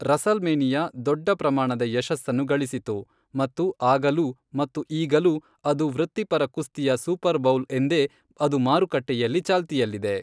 WrestleMania ದೊಡ್ಡ ಪ್ರಮಾಣದ ಯಶಸ್ಸನ್ನು ಗಳಿಸಿತು ಮತ್ತು ಆಗಲೂ ಮತ್ತು ಈಗಲೂ ಅದು ವೃತ್ತಿಪರ ಕುಸ್ತಿಯ ಸೂಪರ್ ಬೌಲ್ ಎಂದೇ ಅದು ಮಾರುಕಟ್ಟೆಯಲ್ಲಿ ಚಾಲ್ತಿಯಲ್ಲಿದೆ.